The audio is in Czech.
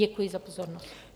Děkuji za pozornost.